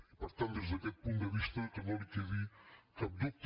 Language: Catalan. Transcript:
i per tant des d’aquest punt de vista que no li quedi cap dubte